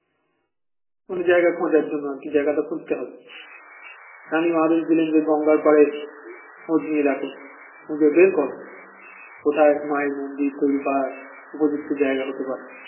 কোন জায়গা খোঁজার জন্য আর কি জায়গাটা খুঁজেতে হবে রানীমা আদেশ দিলেন যে গঙ্গার পরে খোঁজ নিয়ে দেখো খুঁজে বের কর কোথায় মায়ের মন্দির তৈরি করার উপযুক্ত জায়গা হতে পারে